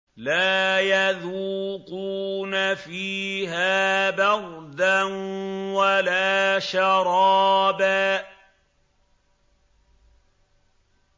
لَّا يَذُوقُونَ فِيهَا بَرْدًا وَلَا شَرَابًا